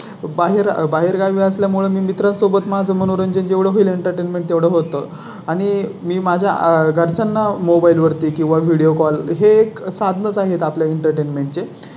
आयुर्वेदिक हि एक भारतीय वैद्य शास्त्र असून अतिशय प्राचीन अशी वैदिक परंपरा आयुर्वेद शास्त्राला लागलेली आहे आज एकविसाव्या शतकामध्ये भारताने प्रगतीचे अस्तीचे शिखर गाठलेले आहे.